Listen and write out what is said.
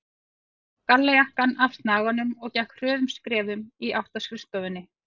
Tók gallajakkann af snaganum og gekk hröðum skrefum í átt að skrifstofunni.